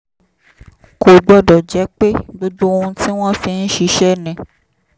kò gbọ́dọ̀ jẹ́ pé gbogbo ohun tí wọ́n fi ń ṣiṣẹ́ ni